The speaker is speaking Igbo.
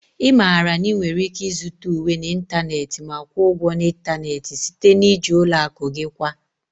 Ị maara na ị nwere ike ịzụta uwe n'ịntanetị ma kwụọ ụgwọ n'ịntanetị site na iji ụlọ akụ gị kwa